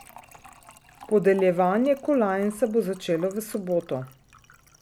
Podeljevanje kolajn se bo začelo v soboto.